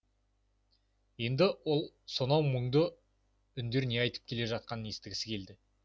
енді ол сонау мұңды үндер не айтып келе жатқанын естігісі келді